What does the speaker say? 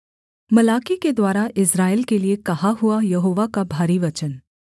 मलाकी के द्वारा इस्राएल के लिए कहा हुआ यहोवा का भारी वचन